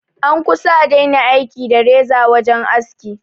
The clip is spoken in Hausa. An kusa a daina aiki da reza wajen aski